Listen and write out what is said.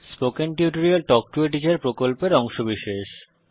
spoken tutorial talk to a teacher প্রকল্পের অংশবিশেষ